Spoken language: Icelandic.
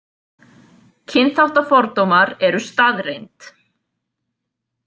Kynþáttafordómar eru staðreynd.